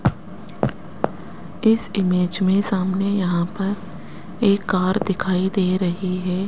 इस इमेज में सामने यहां पर एक कार दिखाई दे रही है।